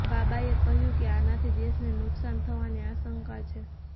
બાબાએ કહ્યુ કે આનાથી દેશને નુકશાન થવાની આશંકા છે